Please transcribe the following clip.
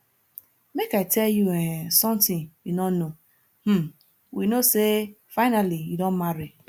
make i tell you um something you no know um we know say finally you don marry